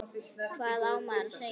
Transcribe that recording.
Hvað á maður að segja?